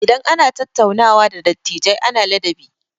Idan ana tattaunawa da dattijai ana ladabi.